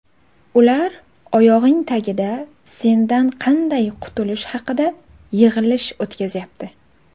ular oyog‘ing tagida sendan qanday qutulish haqida yig‘ilish o‘tkazyapti.